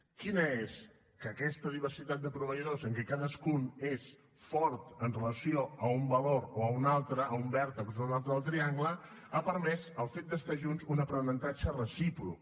quina és que aquesta diversitat de proveïdors en què cadascun és fort amb relació a un valor o a un altre a un vèrtex o un altre del triangle ha permès el fet d’estar junts un aprenentatge recíproc